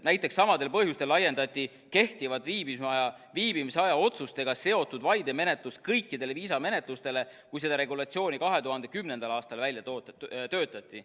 Näiteks, samadel põhjustel laiendati kehtivaid viibimisaja otsustega seotud vaidemenetlusi kõikidele viisamenetlustele, kui seda regulatsiooni 2010. aastal välja töötati.